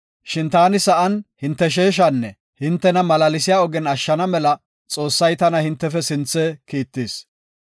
Shin taani sa7an hinte sheeshanne hintena malaalsiya ogen ashshana mela Xoossay tana hintefe sinthe kiittis.